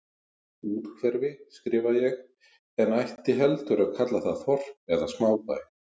Úthverfi, skrifa ég, en ætti heldur að kalla það þorp eða smábæ.